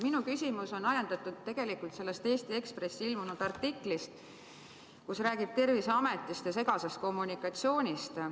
Minu küsimus on ajendatud tegelikult sellest Eesti Ekspressis ilmunud artiklist, kus räägitakse Terviseametist ja segasest kommunikatsioonist.